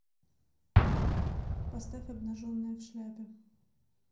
поставь обнаженная в шляпе